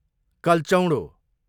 कल्चौँडो